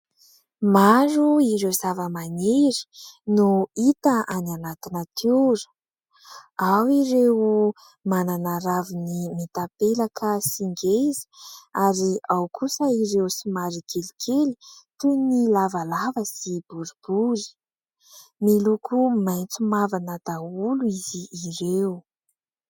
Maro ireo zava-maniry no hita any anaty natiora. Ao ireo manana raviny mitapelaka sy ngeza; ary ao kosa ireo somary kelikely toy ny lavalava sy boribory. Miloko maitso mavana daholo izy ireo.